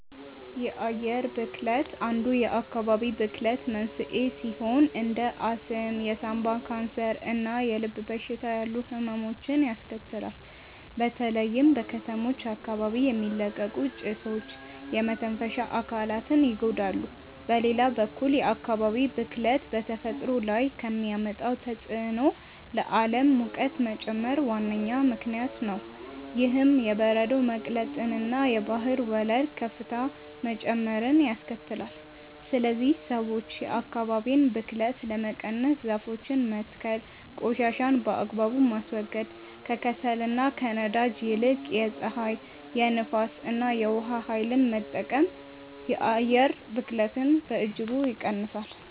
የአየር ብክለት አንዱ የአካባቢ ብክለት መንስኤ ሲሆን እንደ አስም፣ የሳምባ ካንሰር እና የልብ በሽታ ያሉ ህመሞችን ያስከትላል። በተለይም በከተሞች አካባቢ የሚለቀቁ ጭሶች የመተንፈሻ አካላትን ይጎዳሉ። በሌላ በኩል የአካባቢ ብክለት በተፈጥሮ ላይ ከሚያመጣው ተጽዕኖ ለዓለም ሙቀት መጨመር ዋነኛ ምክንያት ነው። ይህም የበረዶ መቅለጥንና የባህር ወለል ከፍታ መጨመርን ያስከትላል። ስለዚህ ሰዎች የአካባቢን ብክለት ለመቀነስ ዛፎችን መትከል ቆሻሻን በአግባቡ ማስወገድ፣ ከከሰልና ከነዳጅ ይልቅ የፀሐይ፣ የንፋስ እና የውሃ ኃይልን መጠቀም የአየር ብክለትን በእጅጉ ይቀንሳል።